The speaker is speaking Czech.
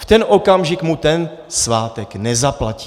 V ten okamžik mu ten svátek nezaplatí.